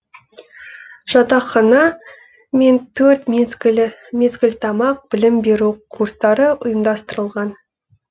жатақхана мен төрт мезгіл тамақ білім беру курстары ұйымдастырылған